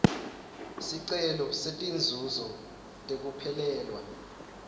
sicelo setinzuzo tekuphelelwa